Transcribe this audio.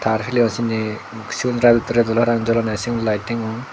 ar sindi sigun redot parapang jolonne sigun lighting un.